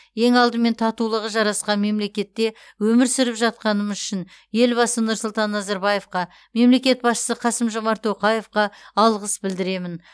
ең алдымен татулығы жарасқан мемлекетте өмір сүріп жатқанымыз үшін елбасы нұрсұлтан назарбаевқа мемлекет басшысы қасым жомарт тоқаевқа алғыс білдіремін